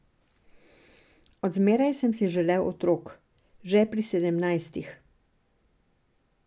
Od zmeraj sem si želel otrok, že pri sedemnajstih.